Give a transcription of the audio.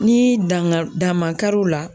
Ni dan ga dan man kari u la